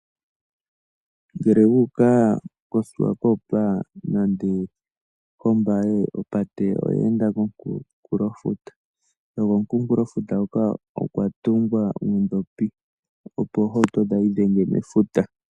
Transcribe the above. Ngele wuuka koSwakopmund nande koWalvis Bay, opate oya enda komunkulofuta, nokomunkulofuta hoka okwa tungwa uudhopi opo oohauto kayi idhenge mefuta.